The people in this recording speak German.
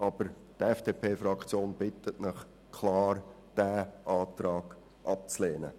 Die FDP-Fraktion bittet Sie klar, diesen Antrag abzulehnen.